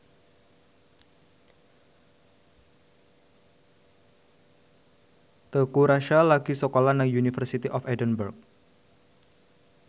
Teuku Rassya lagi sekolah nang University of Edinburgh